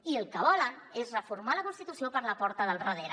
i el que volen és reformar la constitució per la porta del darrere